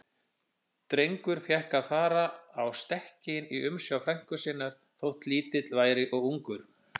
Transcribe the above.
Drengur fékk að fara á stekkinn í umsjá frænku sinnar, þótt lítill væri og ungur.